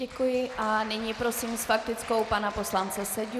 Děkuji a nyní prosím s faktickou pana poslance Seďu.